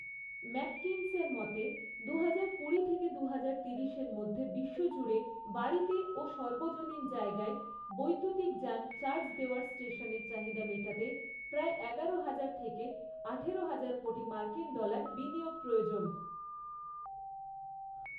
ম্যাককিনসের মতে, দুহাজার কুড়ি থেকে দুহাজার তিরিশের মধ্যে বিশ্বজুড়ে বাড়িতে ও সর্বজনীন জায়গায় বৈদ্যুতিক যান চার্জ দেওয়ার স্টেশনের চাহিদা মেটাতে প্রায় এগারো হাজার থেকে আঠারো হাজার কোটি মার্কিন ডলার বিনিয়োগ প্রয়োজন।